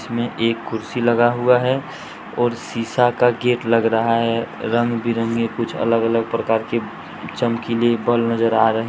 इसमें एक कुर्सी लगा हुआ है और शिशा का गेट लग रहा है रंग बिरंगे कुछ अलग-अलग प्रकार की चमकीले बल नजर आ रहे है।